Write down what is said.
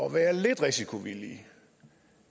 at være lidt risikovillig